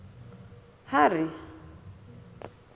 harry